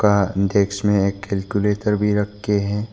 आ desk में एक calculator भी रखें है।